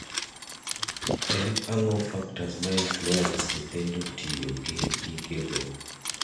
En ang'o factors ma influence nyithindo tiyogi gige go?